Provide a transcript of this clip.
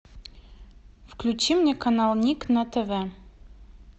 включи мне канал ник на тв